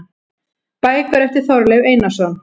Bækur eftir Þorleif Einarsson